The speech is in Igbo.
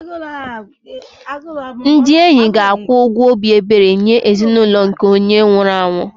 Ndị enyi ga-akwụ ụgwọ obi ebere nye ezinụlọ nke onye nwụrụ anwụ